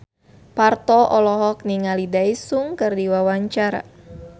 Parto olohok ningali Daesung keur diwawancara